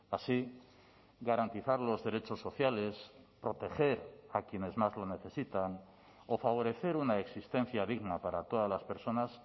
así garantizar los derechos sociales proteger a quienes más lo necesitan o favorecer una existencia digna para todas las personas